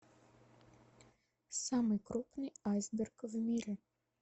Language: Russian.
самый крупный айсберг в мире